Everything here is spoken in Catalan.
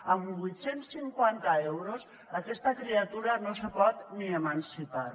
amb vuit cents i cinquanta euros aquesta criatura no se pot ni emancipar